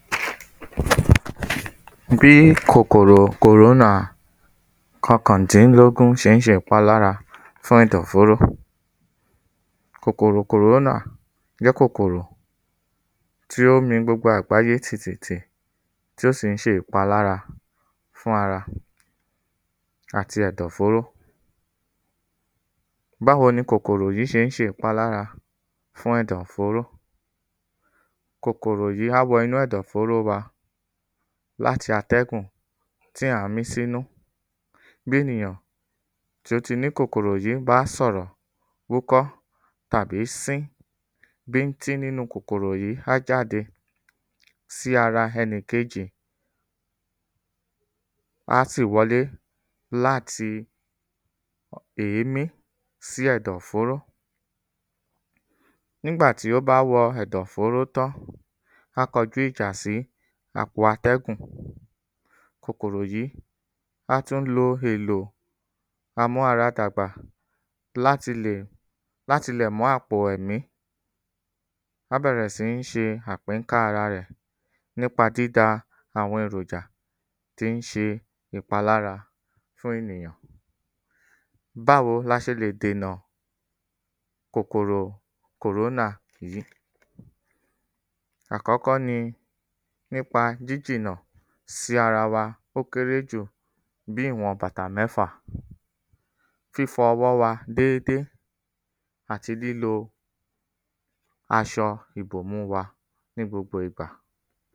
Bí kòkòrò kòrónà kọkàndínlógún ṣé ń ṣe ìpalára fún ẹ̀dọ̀ fóró Kòkòrò kòrónà jẹ́ kòkòrò tí ó mi gbogbo àgbáyé tìtìtì tí ó sì ń ṣe ìpalára fún ara àti ẹ̀dọ̀ fóró Báwo ni kòkòrò yí ṣé ń ṣe ìpalára fún ẹ̀dọ̀ fóró? Kòkòrò yí á wọnú ẹ̀dọ̀ fóró wa l'áti atẹ́gùn tí à ń mí s’ínú Bí ènìyàn t’ó ti ní kòkòrò yí bá s'ọ̀rọ̀, wúkọ́ tàbí sín bíntín n'ínu kòkòrò yí á jáde sí ara ẹnikejì a sì wọlé l'áti èémí sí ẹ̀dọ̀ fóró. N'ígbà tí ó bá wọ ẹ̀dò fóró tán, á kojú ìjà sí àpò atẹ́gùn Kòkòrò yí, á tú lo èlò amú ara dàgbà l’áti lè mú àpò ẹ̀mí á bẹ̀rẹ̀ sí ń ṣe àpínká ara rẹ̀ n'ípa dída àwọn eròjà tí ń ṣe ìpalára fún ènìyàn Báwo l’a ṣe lè dènà kòkòrò kòrónà yìí? Àkọ́kọ ni n'ípa jíjìnà sí ara wa ó kéré jù ní ìwọ̀n bàtà mẹ́fà Fífọ ọwọ́ wa dédé àti lílo aṣọ ìbòmú wa ní gbogbo ìgbà